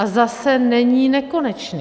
A zase není nekonečný.